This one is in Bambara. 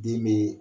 Den be